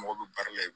Mɔgɔ bɛ baara la